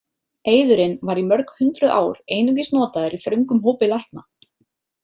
Eiðurinn var í mörg hundruð ár einungis notaður í þröngum hópi lækna.